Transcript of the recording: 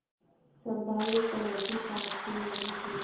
स्वाभाविक प्रवृत्ति पाप की ओर होती है